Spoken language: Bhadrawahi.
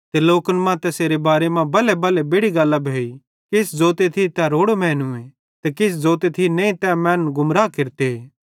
ते लोकन मां तैसेरे बारे मां बल्हेबल्हे बेड़ि गल्लां भोइ किछ जोते थी तै रोड़ो मैनूए ते किछ ज़ोते थी नईं तै मैनन् गुमरा केरते